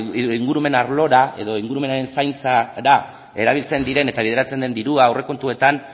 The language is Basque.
edo ingurumen arlora edo ingurumen zaintzara erabiltzen diren eta bideratzen den dirua aurrekontuetan